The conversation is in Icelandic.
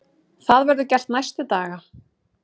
Það verður gert næstu daga.